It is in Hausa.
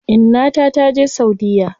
Inna ta taje saudiya.